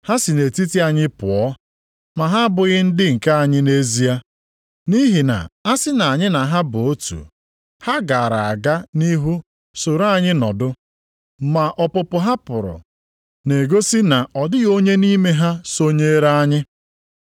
Ha si nʼetiti anyị pụọ, ma ha abụghị ndị nke anyị nʼezie. Nʼihi na a sị na anyị na ha bụ otu, ha gaara aga nʼihu soro anyị nọdụ. Ma ọpụpụ ha pụrụ na-egosi na ọ dịghị onye nʼime ha sonyere anyị.